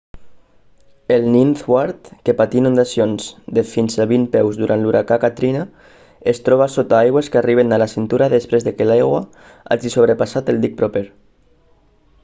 el ninth ward que patí inundacions de fins a 20 peus durant l'huracà katrina es troba sota aigües que arriben a la cintura després que l'aigua hagi sobrepassat el dic proper